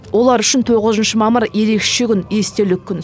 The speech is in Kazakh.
олар үшін тоғызыншы мамыр ерекше күн естелік күн